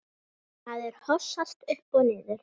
Maður hossast upp og niður.